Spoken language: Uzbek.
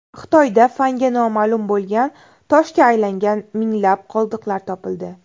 Xitoyda fanga noma’lum bo‘lgan toshga aylangan minglab qoldiqlar topildi.